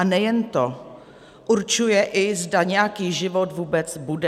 A nejen to, určuje i, zda nějaký život vůbec bude.